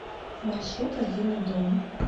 маршрут родильный дом